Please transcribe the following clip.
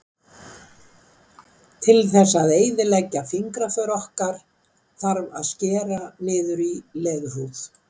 til þess að eyðileggja fingraför okkar þarf að skera niður í leðurhúð